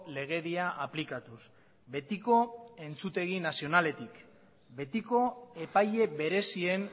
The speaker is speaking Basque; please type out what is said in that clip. legedia aplikatuz betiko entzutegi nazionaletik betiko epaile berezien